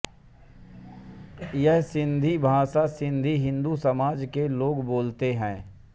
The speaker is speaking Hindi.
यह सिन्धी भाषा सिन्धी हिंदू समाज के लोग बोलते हैं